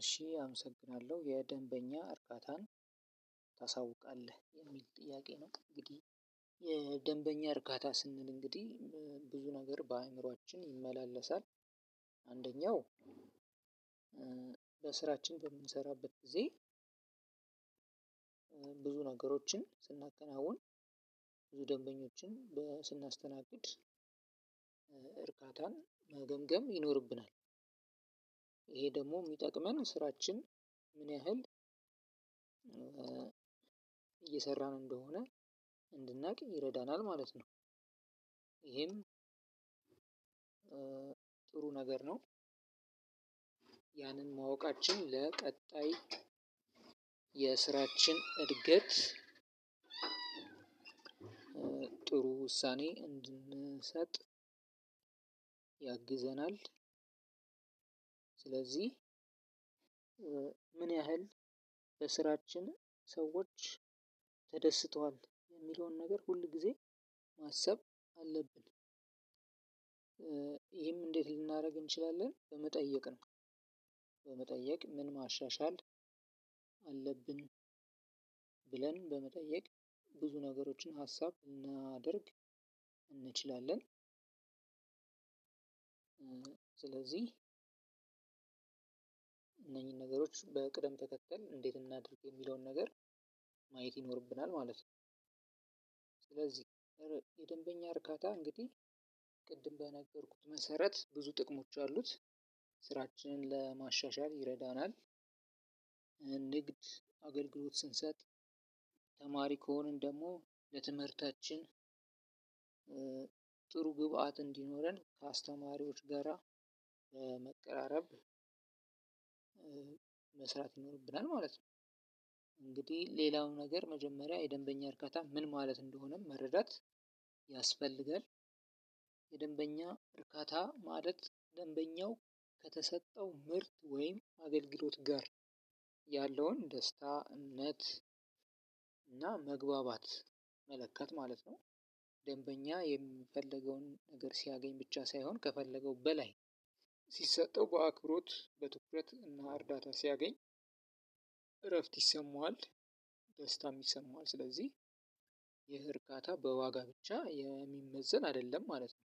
እሺ አመሰግናለሁ የደንበኛ እርጋታን እሚል ጥያቄ ነው። እንግዲህ የ ደንበኛ እርካታ ስንል እንግዲህ ብዙ ነገር በአእምሮአችን ይመላለሳል። አንደኛው በስራችን በምንሰራበት ጊዜ ብዙ ነገሮችን ስናከናውን ብዙ ደንበኞችን ስናስተናግድ እርካታን መገምገም ይኖርብናል። ይሄ ደሞ እሚጠቅመን ስራችን ምን ያህል እየሰራ እንደሆነ እንድናቅ ይረዳናል ማለት ነው። ይሄም ጥሩ ነገር ነው። ያንን ማወቃችን ለቀጣይ የስራችን እድገት ጥሩ ውሳኔ እንድንሰጥ ያግዘናል። ስለዚህ ምን ያህል በስራችን ሰዎች ተደስተዋል እሚለውን ነገር ሁል ጊዜ ማሰብ አለብን። ይህም እንዴት ልናደርግ እንችላለን በመጠየቅ ነው። በመጠየቅ ምን ማሻሻል አለብን ብለን በመጠየቅ ብዙ ነገሮችን ሀሳብ ብናደርግ እንችላለን። ስለዚህ እነኚህን ነገሮች በቅደም ተከክል እንዴት እናድርግ የሚለውን ነገር ማየት ይኖርብናል ማለት ነው። ስለዚህ የደንበኛ እርካታ እንግዲህ ቅድም በነገርኩህ መሰረት ብዙ ጥቅሞች አሉት ስራችንን ለማሻሻል ይረዳናል። ንግድ አገልግሎት ስንሰጥ ተማሪ ከሆንን ደሞ ለትምህርታችን ጥሩ ግብአት እንዲኖረን ከአስተማሪዎች ጋራ መቀራረብ መስራት ይኖርብናል ማለት ነው። እንግዲህ ሌላው ነገር መጀመሪያ የደንበኛ እርካታ ምን ማለት እንደሆነ መረዳት ያስፈልጋል። የደንበኛ እርካታ ማደግ ደንበኛው ከተሰጠው ምርት ወይም አገልግሎት ጋር ያለውን ደስታነት እና መግባባት መለካት ማለት ነው። ደንበኛ የሚፈልገውን ነገር ሲያገኝ ብቻ ሳይሆን ከፈለገው በላይ ሲሰጠው በአክብሮት በትኩረት እና እርዳታ ሲያገኝ እረፍት ይሰማዋል። ደስታም ሚሰማው ስለዚህ ይሄ እርካታ በዋጋ ብቻ የሚመዘን አይደለም ማለት ነው።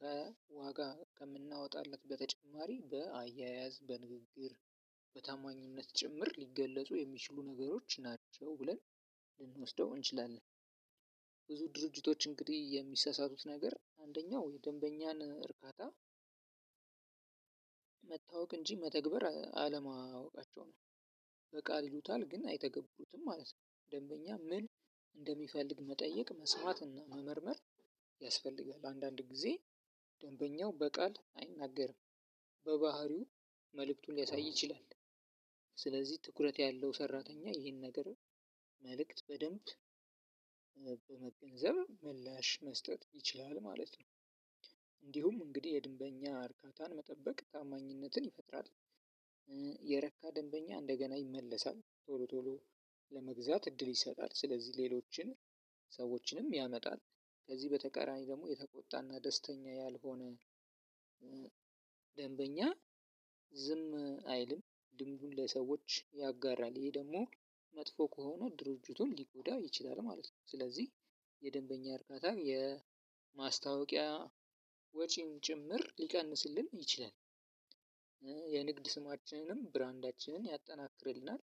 ከዋጋ ከምናወጣለት በተጨማሪ በአያያዝ በንግግር በታማኝነት ጭምር ሊገለጹ የሚችሉ ነገሮች ናቸው ብለን ልንወስደው እንችላለን። ብዙ ድርጅቶች እንግዲህ የሚሰሳቱት ነገር አንደኛው ደንበኛን እርካታ እንጂ መተግበር አለማወቃቸው ነው። በቃል ይሉታል ግን አይተገብሩትም ማለት ነው። ደንበኛ ምን እንደሚፈልግ መጠየቅ መስማት እና መመርመር ያስፈልጋል። አንዳንድ ጊዜ ደንበኛው በቃል አይናገርም። በባህሪው መልእክቱን ሊያሳይ ይችላል። ስለዚህ ትኩረት ያለው ሰራተኛ ይሄን ነገር መልእክት በደንብ በመገንዘብ ምላሽ መስጠት ይችላል ማለት ነው። እንዲሁም እንግዲህ የደንበኛ እርካታን መጠበቅ ታማኝነትን ይፈጥራል። የረካ ደንበኛ እንደገና ይመለሳል ቶሎ ቶሎ ለመግዛት እድል ይሰጣል ስለዚህ ሌሎችን ሰዎችንም ያመጣል። ከዚህ በተቀራኒ ደሞ የተቆጣና ደስተኛ ያልሆነ ደንበኛ ዝም አይልም ልምዱን ለሰዎች ያጋራል። ይህ ደሞ መጥፎ ከሆነ ድርጅቱን ሊጎዳው ይችላል ማለት ነው። ስለዚህ የደንበኛ እርካታ የማስታወቂያ ወጪም ጭምር ሊቀንስልን ይችላል። የንግድ ስማችንንም ብራንዳችንን ያጠናክርልናል።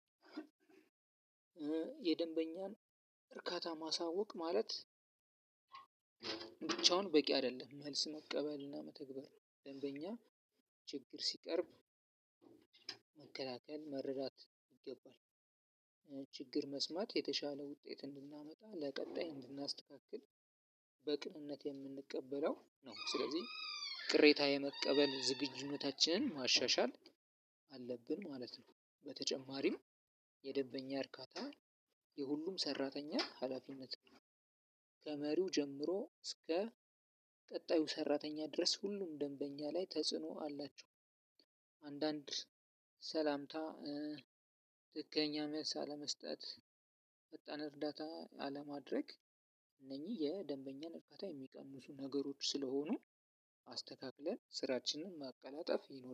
የደንበኛን እርካታ ማሳወቅ ማለት ብቻውን በቂ አይደለም መልስ መቀበል እና መተግበር ደንበኛ ችግር ሲቀርብ መከላከል መረዳት ይገባል። ችግር መስማት የተሻለ ውጤት እንድናመጣ ለቀጣይ እንድናስተካክል በቅንነት የምንቀበለው ነው። ስለዚህ ቅሬታ የመቀበል ዝግጁነታችንን ማሻሻል አለብን ማለት ነው። በተጨማሪም የደንበኛን እርካታ ለሁሉም ሰራተኛ ሀላፊነት ነው። ከመሪው ጀምሮ እስከ ቀጣዩ ሰራተኛ ድረስ ሁሉም ደንበኛ ላይ ተጽኖ አላቸው። አንዳንድ ሰላምታ ትክክለኛ መልስ አለመስጠት ፈጣን እርዳታ አለማድረግ አነኝህ የደንበኛን እርካታ የሚቀንሱ ነገሮች ስለሆኑ አስተካክለን ስራችን ማቀላጠፍ።